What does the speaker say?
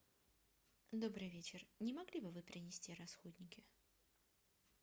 добрый вечер не могли бы вы принести расходники